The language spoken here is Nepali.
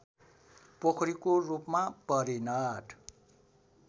पोखरीको रूपमा परिणत